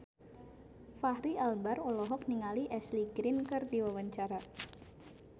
Fachri Albar olohok ningali Ashley Greene keur diwawancara